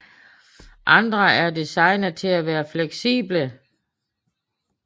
Andre er designet til at være fleksible